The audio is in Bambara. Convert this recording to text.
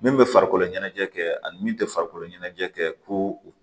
Min bɛ farikolo ɲɛnajɛ kɛ ani min tɛ farikolo ɲɛnajɛ kɛ ko o